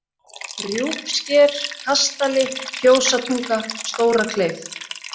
Rjúpsker, Kastali, Fjósatunga, Stórakleif